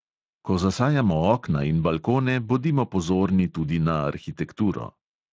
Ko zasajamo okna in balkone, bodimo pozorni tudi na arhitekturo.